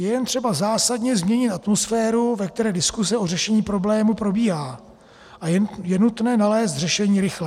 Je jen třeba zásadně změnit atmosféru, ve které diskuse o řešení problému probíhá, a je nutné nalézt řešení rychle.